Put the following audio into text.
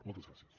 moltes gràcies